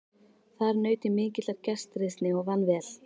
Þar naut ég mikillar gestrisni og vann vel.